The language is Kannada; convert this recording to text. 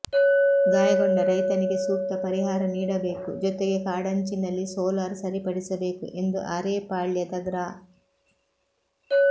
ಗಾಯಗೊಂಡ ರೈತನಿಗೆ ಸೂಕ್ತ ಪರಿಹಾರ ನೀಡಬೇಕು ಜೊತೆಗೆ ಕಾಂಡಂಚಿನಲ್ಲಿ ಸೋಲಾರ್ ಸರಿಪಡಿಸಬೇಕು ಎಂದು ಅರೇಪಾಳ್ಯದ ಗ್ರಾ